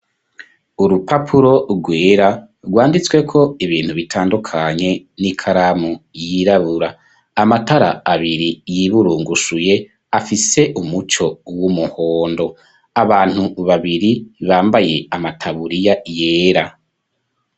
Urupapuro rwera rwanditswe ko ibintu bitandukanye n'ikaramu yirabura amatara abiri yiburungushuye afise umuco w'umuhondo abantu babiri bambaye amataburiya yera.